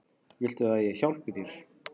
Viltu að ég hjálpi þér?